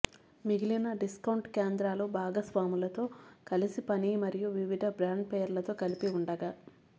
మిగిలిన డిస్కౌంట్ కేంద్రాలు భాగస్వాములతో కలిసి పని మరియు వివిధ బ్రాండ్ పేర్లతో కలిపి ఉండగా